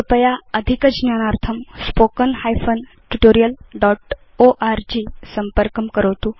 कृपया अधिकज्ञानार्थं spoken hyphen tutorial dot org संपर्कं करोतु